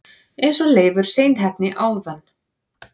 eins og Leifur seinheppni áðan!